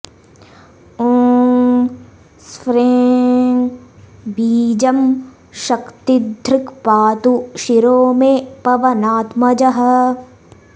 ओं स्फ्रें बीजं शक्तिधृक् पातु शिरो मे पवनात्मजः